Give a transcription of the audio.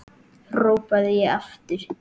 hrópaði ég aftur.